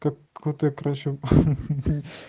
крутая прошивка